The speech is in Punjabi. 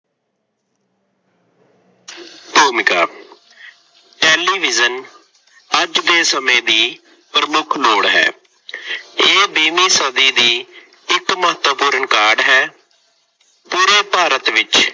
ਭੂਮਿਕਾ- ਟੈਲੀਵਿਜ਼ਨ ਅੱਜ ਦੇ ਸਮੇਂ ਦੀ ਪ੍ਰਮੁੱਖ ਲੋੜ ਹੈ। ਇਹ ਵੀਹਵੀਂ ਸਦੀ ਦੀ ਇੱਕ ਮਹੱਤਵਪੁਰਨ ਕਾਢ ਹੈ। ਪੂਰੇ ਭਾਰਤ ਵਿੱਚ